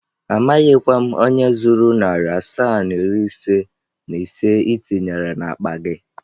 Amaghịkwa m onye zuru narị asaa na iri ise na ise ị tinyere n'akpa gị.